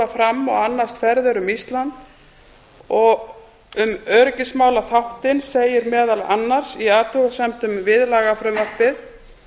fram og annast ferðir um ísland um öryggismálaþáttinn segir meðal annars í athugasemdum við lagafrumvarpið